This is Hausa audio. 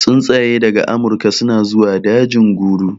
Tsuntsaye daga amurka suna zuwa dajin guru